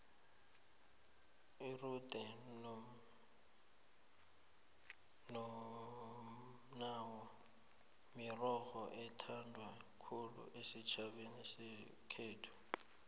irude nomnawa mirorho ethandwa khulu esitjhabeni sekhethu